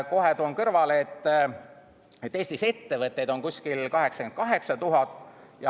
Kohe toon kõrvale, et Eestis on ettevõtteid kuskil 88 000.